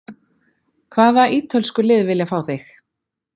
Hvaða ítölsku lið vilja fá þig?